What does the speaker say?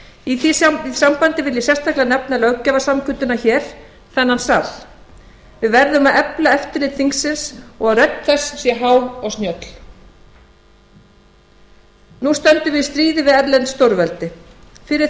í því sambandi vil ég sérstaklega nefna löggjafarsamkunduna hér þennan sal við verðum að efla eftirlit þingsins og að rödd þess sé há og snjöll nú stöndum við í stríði við erlent stórveldi fyrir